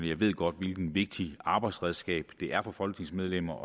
jeg ved godt hvilket vigtigt arbejdsredskab det er for folketingsmedlemmer